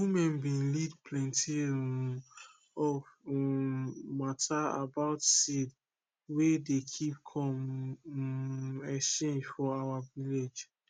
women bin lead plenti um of um matter about seed wey dey keep com um exchange for our village